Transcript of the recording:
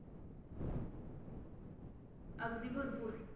अगदी भरपूर